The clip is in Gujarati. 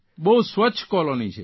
બહુ સ્વચ્છ કોલોની છે